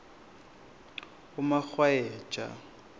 umarhwayeja